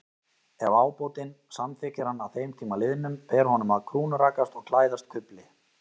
Ef ábótinn samþykkir hann að þeim tíma liðnum, ber honum að krúnurakast og klæðast kufli.